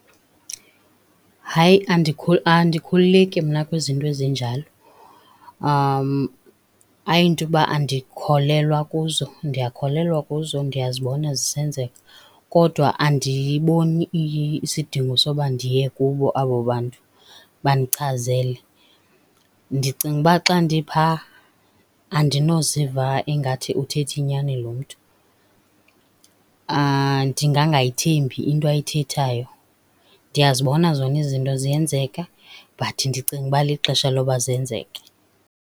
Hayi andikhululeki mna kwizinto ezinjalo. Ayinto uba andikholelwa kuzo. Ndiyakholelwa kuzo, ndiyazibona zisenzeka kodwa andiboni isidingo sokuba ndiye kubo abo bantu bandichazele. Ndicinga uba xa ndipha andinoziva ingathi uthetha inyani lo mntu, ndingangayithembi into ayithethayo. Ndiyazibona zonke izinto ziyenzeka but ndicinga ukuba lixesha loba zenzeke.